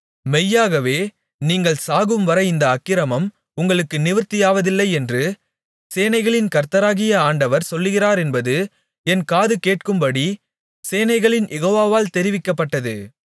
மெய்யாகவே நீங்கள் சாகும்வரை இந்த அக்கிரமம் உங்களுக்கு நிவிர்த்தியாவதில்லை என்று சேனைகளின் கர்த்தராகிய ஆண்டவர் சொல்கிறாரென்பது என் காது கேட்கும்படி சேனைகளின் யெகோவாவால் தெரிவிக்கப்பட்டது